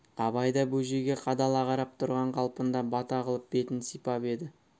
абай да бөжейге қадала қарап тұрған қалпында бата қылып бетін сипап еді